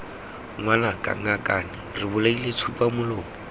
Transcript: ngwanaka ngakane re bolaile tsupamolomo